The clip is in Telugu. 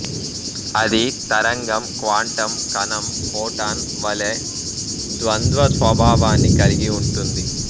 అది తరంగం క్వాంటం కణం ఫోటాన్ వలె ద్వంద్వ స్వభావాన్ని కలిగి ఉంటుంది